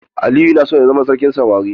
Aliyu yana son ya zama sarkin samari.